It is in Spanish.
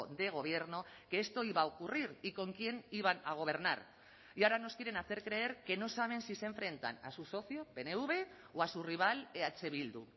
de gobierno que esto iba a ocurrir y con quién iban a gobernar y ahora nos quieren hacer creer que no saben si se enfrentan a su socio pnv o a su rival eh bildu